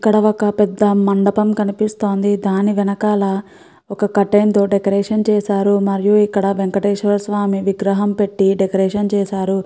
ఇక్కడ ఒక పెద్ద మండపం కనిపిస్తోంది దాని వెనకాల ఒక కర్టెన్ తో డెకరేషన్ చేశారు మరియు ఇక్కడ వేంకటేశ్వరస్వామి విగ్రహం పెట్టి డెకరేషన్ చేశారు.